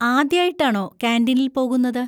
ആദ്യായിട്ടാണോ കാന്‍റീനിൽ പോകുന്നത്?